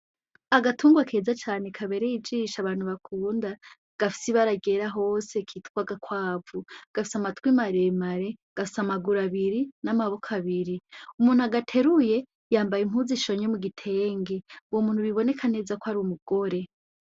Agatungwa keza cane kabereye ijisho abantu bakunda gafise ibara ryera hose kitwa agakwavu gafise amatwi maremare gafise amaguru abiri n'amaboko abiri, umuntu agateruye yambaye impuzu ishonye mu gitenge, uwo muntu biboneka neza ko ari umugore.